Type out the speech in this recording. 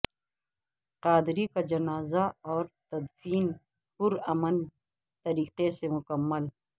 قادری کا جنازہ اور تدفین پرامن طریقے سے مکمل